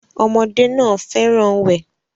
Ọmọdé náà fẹ́ràn wẹ̀